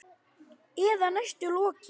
Eða næstum lokið.